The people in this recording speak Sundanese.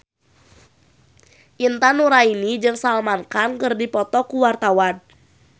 Intan Nuraini jeung Salman Khan keur dipoto ku wartawan